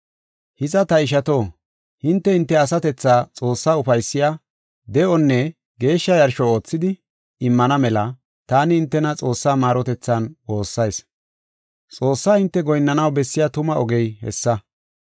Hiza, ta ishato, hinte, hinte asatethaa Xoossaa ufaysiya, de7onne geeshsha yarsho oothidi, immana mela taani hintena Xoossaa maarotethan woossayis. Xoossaa hinte goyinnanaw bessiya tuma ogey hessa.